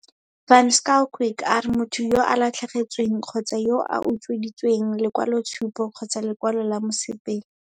Van Schalkwyk a re motho yo a latlhegetsweng kgotsa yo a utsweditsweng lekwaloitshupo kgotsa lekwalo la mosepele.